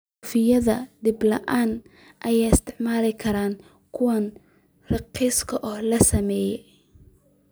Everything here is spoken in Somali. Suufyada dib loo isticmaali karo waa kuwo raqiis ah in la sameeyo.